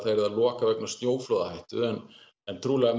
loka vegna snjóflóðahættu en en trúlega